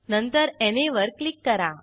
नंतर ना वर क्लिक करा